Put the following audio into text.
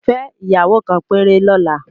Fẹ́ ìyàwó kan péré lọ́la